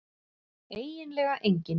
eiginlega enginn